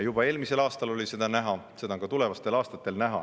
Juba eelmisel aastal oli seda näha ja seda on ka tulevastel aastatel näha.